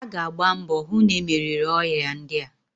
A ga agba mbọ hu na-e meriri oya ndia.